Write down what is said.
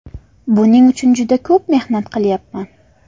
Buning uchun juda ko‘p mehnat qilyapman.